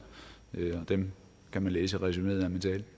dem kan man læse i resuméet